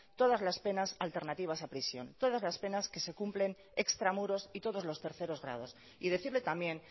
todas las penas alternativa a prisión todas las penas que se cumplen extramuros y todos los terceros grados y decirle también